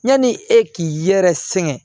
Yanni e k'i yɛrɛ sɛgɛn